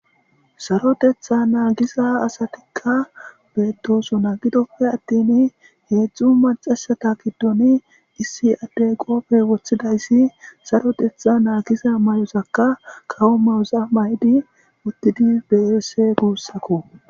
Saroteththa naagiza asatikka beetosona gidoppe attin heedzdzu macca asata giddon issi addey qoobe wothidayssi saroteththa naagiza mayozaka kawo mayoza mayidi uttidi de'es guussako.